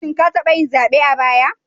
Shin ka taba yin zabe a baya?